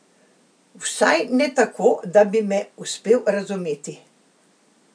Vsaj ne tako, da bi me uspel razumeti.